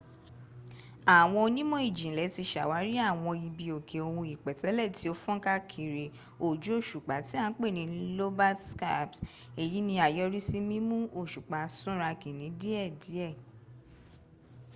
àwọn onímò-ìjìnlẹ ti sàwárí àwọn ibi òkè ohun ìpètélè ti o fónká kiri ojú òsùpá ti a n pẹ ni lobate scarps èyí ni àyọrìsí mímú òsùpá súnrakí ní díè díè